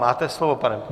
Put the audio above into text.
Máte slovo, pane...